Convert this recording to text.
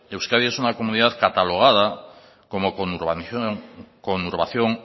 euskadi es una comunidad cataloga como conurbación